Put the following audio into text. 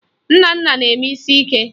Nnanna na-eme isi ike